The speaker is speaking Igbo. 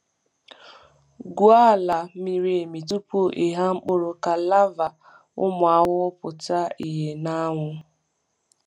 Gwuo ala miri emi tupu ịgha mkpụrụ ka larvae ụmụ ahụhụ pụta ìhè n’anwụ.